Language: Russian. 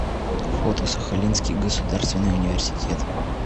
фото сахалинский государственный университет